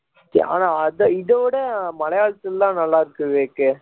ஆனா அதை இதை விட மலையாளத்தில் எல்லாம் நல்லா இருக்குது விவேக்